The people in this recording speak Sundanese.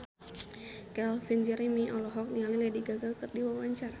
Calvin Jeremy olohok ningali Lady Gaga keur diwawancara